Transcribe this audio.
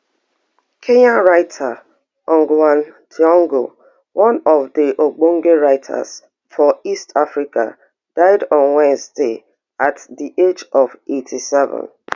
kenya writer ngg wa thiongo one of di ogbonge writers for east africa die on wednesday at di age of eighty-seven